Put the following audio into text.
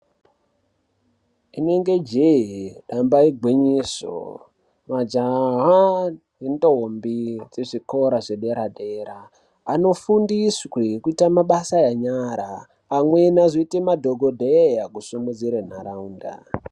Inenge jehee, ramba igwinyiso, majaha ne ntombi dziri muzvikora zvedera dera anofundiswe kuite mabasa enyara ,amweni ozoita madhokodheya kusimudzire ntaraunda.